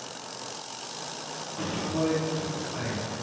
আসসালাম ওয়ালেখুম সাকিব ভাই